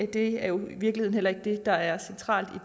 det er jo i virkeligheden ikke det der er centralt